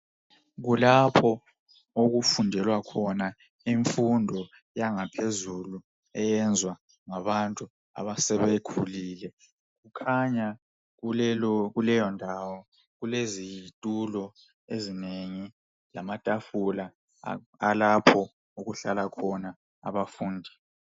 Kulapho okufundelwa khona imfundo yangaphezulu eyenzwa ngabantu abasebekhulile. Kukhanya kuleyo ndawo kulezitulo ezinengi lamatafula alapho okuhlala khona abafundi.